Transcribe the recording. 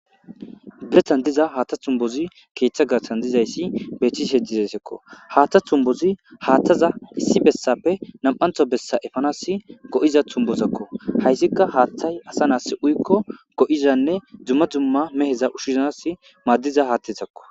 biretan diza haaththa tumbozi keeththa garsan dizayssi beththisi heddizasekko haaththa tumbozi haaththaza issi bessappe nam7antho bessa efanas go7iza tumbozakko hayssika haaththay asa nas uykko go7izanne dzumma dzumma meheza ushshizanas maaddiza haattetakko